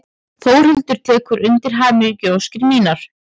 Þórhildur tekur undir hamingjuóskir mínar.